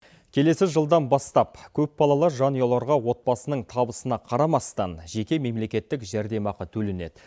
келесі жылдан бастап көпбалалы жанұяларға отбасының табысына қарамастан жеке мемлекеттік жәрдемақы төленеді